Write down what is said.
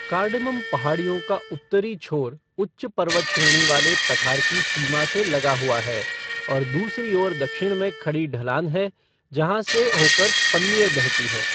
Cardamom पहाड़ियों का उत्तरी छोर उच्च पर्वतश्रेणी वाले पठार की सीमा से लगा हुआ है और दूसरी ओर दक्षिण में खड़ी ढलान है जहाँ से होकर पन्नियर बहती है।